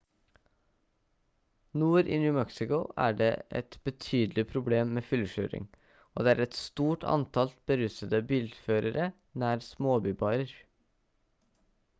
nord i new mexico er det et betydelig problem med fyllekjøring og det er et stort antall berusede bilførere nær småbybarer